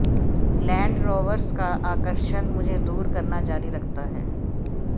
land Rovers का आकर्षण मुझे दूर करना जारी रखता है